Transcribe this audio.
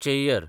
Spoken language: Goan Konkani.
चेय्यर